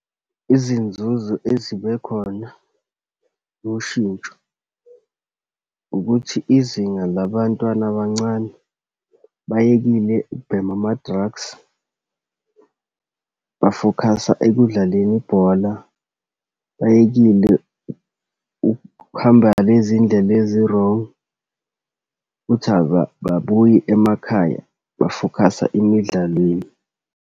Izinzuzo ezibe khona loshintsho ukuthi izinga labantwana abancane beyekile ukubheme ama-drugs, ba-focus-a ekudlaleni ibhola. Beyekile uhamba lezi ndlela ezi-wrong futhi ababuyi emakhaya ba-focus-a emidlalweni.